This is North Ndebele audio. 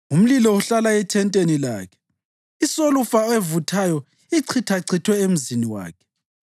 Umlilo uhlala ethenteni lakhe; isolufa evuthayo ichithachithwe emzini wakhe.